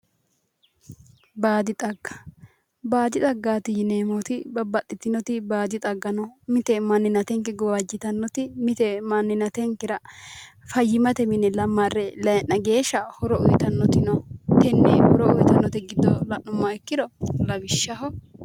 Baadi xagga, baadi xaggati yineemmoti babbaxitinoti baadi xaggati mite maninatenke gawajitanote mite maninatenkera fayimate mare layi'na geeshsha horo uyittanoti no tene horo uyittanote giddo la'nuummoro lawishshaho